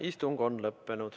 Istung on lõppenud.